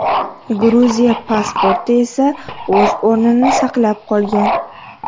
Gruziya pasporti esa o‘z o‘rnini saqlab qolgan.